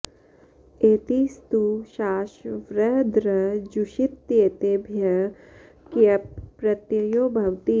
एति स्तु शास् वृ दृ जुषित्येतेभ्यः क्यप् प्रत्ययो भवति